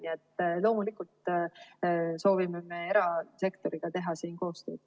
Nii et loomulikult me soovime erasektoriga teha koostööd.